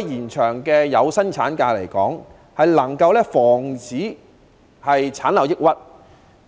延長有薪產假能夠防止產後抑鬱，